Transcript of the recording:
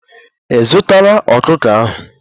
Ị zụtara ọkụkọ ahụ?